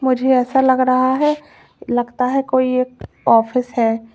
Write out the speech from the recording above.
मुझे ऐसा लग रहा है लगता है कोई एक ऑफिस है।